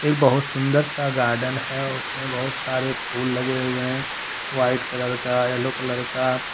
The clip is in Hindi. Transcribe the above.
बहुत सुंदर सा गार्डन है और उनमें बहुत सारे फूल लगे हुए हैं व्हाइट कलर का येलो कलर का।